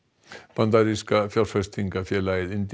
bandaríska fjárfestingarfélagið